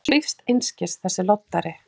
Hann svífst einskis, þessi loddari!